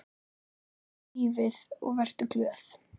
Kjóstu lífið og vertu glöð.